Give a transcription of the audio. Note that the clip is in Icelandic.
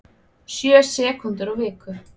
Sjö sekúndur á viku